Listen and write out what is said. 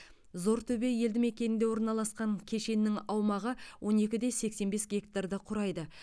зортөбе елді мекенінде орналасқан кешеннің аумағы он екі де сексен бес гектарды құрайды